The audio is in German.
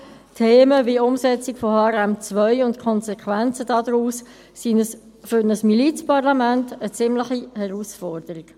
Themen wie die Umsetzung von HRM2 und die Konsequenzen daraus sind für ein Milizparlament eine ziemliche Herausforderung.